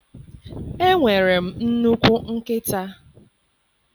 Enwere m nnukwu nkịta.